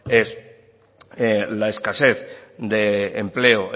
es la escasez de empleo